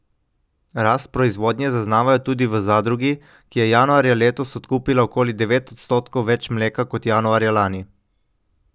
Rast proizvodnje zaznavajo tudi v zadrugi, ki je januarja letos odkupila okoli devet odstotkov več mleka kot januarja lani.